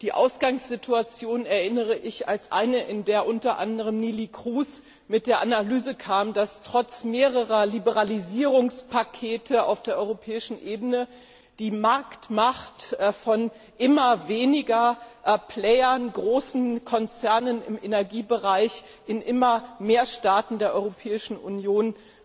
Die Ausgangssituation erinnere ich als eine, in der unter anderem Neelie Kroes mit der Analyse kam, dass trotz mehrerer Liberalisierungspakete auf europäischer Ebene die Marktmacht von immer weniger großen Konzernen im Energiebereich in immer mehr Staaten der Europäischen Union,